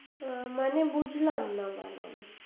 মানে বুঝলাম না mam আমি